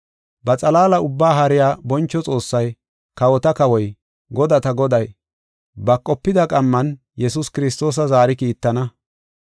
Ba xalaala ubbaa haariya boncho Xoossay, kawota kawoy, godata Goday, ba qopida qamman Yesuus Kiristoosa zaari kiittana.